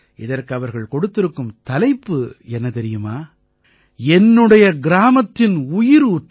இதற்கு அவர்கள் கொடுத்திருக்கும் தலைப்பு என்ன தெரியுமா என்னுடைய கிராமத்தின் உயிரூற்று